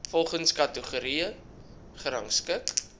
volgens kategorie gerangskik